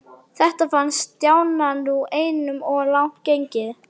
Þetta fannst Stjána nú einum of langt gengið.